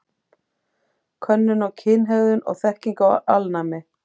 Könnun á kynhegðun og þekkingu á alnæmi.